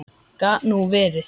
Gat nú verið